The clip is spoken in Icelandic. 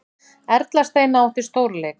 Erla Steina átti stórleik